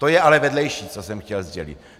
To je ale vedlejší, co jsem chtěl sdělit.